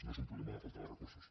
no és un problema de falta de recursos